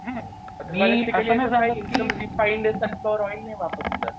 Refined oil नाही वापरलेलं.